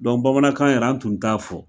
Dɔn bamanankan yɛrɛ an tun t'a fɔ